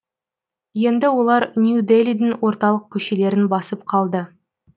енді олар нью делидің орталық көшелерін басып қалды